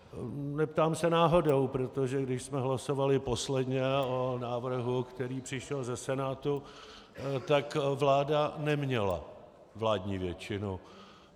Neptám se náhodou, protože když jsme hlasovali posledně o návrhu, který přišel ze Senátu, tak vláda neměla vládní většinu.